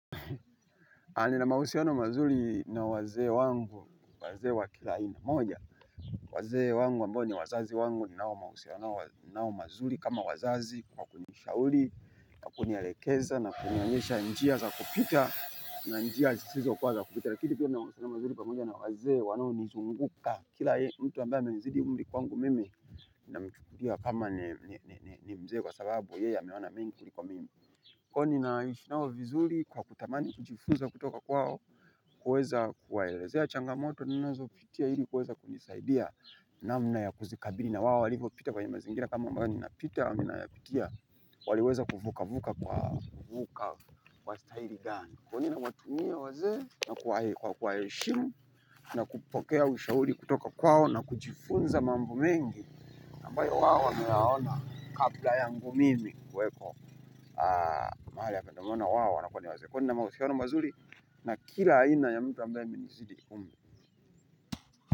Hali na mahusiano mazuri na wazee wangu, wazee wa kila aina moja, wazee wangu ambao ni wazazi wangu ninao mahusiano mazuri kama wazazi kwa kunishauri, kunielekeza na kunionyesha njia za kupita na njia zisizo kwa za kupita. Lakini pia na mahusiano mazuri pamoja na wazee wanaonizunguka. Kila mtu ambaye amenizidi umri kwa wangu mimi na mchukua kama ni mzee kwa sababu yeye ameona mingi kwa mimi. Kwan naishi nao vizuri kwa kutamani kujifunza kutoka kwao, kuweza kuwaelezea changamoto ninazopitia ili kuweza kujisaidia namna ya kuzikabili na wao walivopita kwa mazingira kama haya ninavopita, waliweza kuvuka kwa staili gani. Kwani nawatumia wazee na kwa kwa kuwaheshimu na kupokea ushauri kutoka kwao na kujifunza mambo mengi ambayo wao wameyaona kabla yangu mimi kuwepo mahali ya kuandamana wao na kwa ni wazee kwa nina mahusiano mazuri na kila haina ya mtu ambaye ameninizidi umri.